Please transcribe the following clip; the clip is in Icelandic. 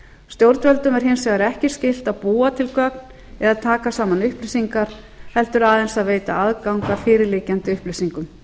stjórnvöldum er hins vegar ekki skylt að búa til gögn eða taka saman upplýsingar heldur aðeins að veita aðgang að fyrir liggjandi upplýsingum